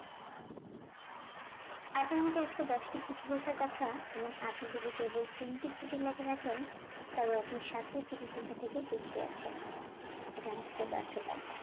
আপনার আজকে দশটি চিঠি লেখার কথা এবং আপনি যদি কেবল তিনটি চিঠি লেখে থাকেন তাহলে আপনি সাতটি চিঠি লেখা থেকে পিছিয়ে আছেন, এটা আজকের ব্যর্থতা